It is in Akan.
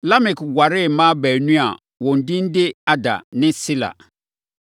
Lamek waree mmaa baanu a wɔn din de Ada ne Sila.